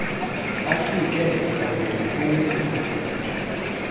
afike kwangentseni ebhotwe